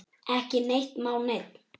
Ekki neitt má neinn!